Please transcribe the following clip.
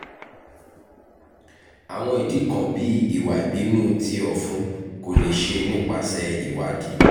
awọn idi kan bii iwa ibinu ti ọfun ko le ṣe nipasẹ iwadii